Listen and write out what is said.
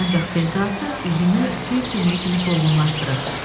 Ancaq sevdası üzünü fil sümüyü kimi solğunlaşdırıb.